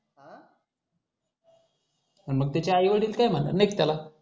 मग त्याची आई वडील काही म्हणत नाही त्याला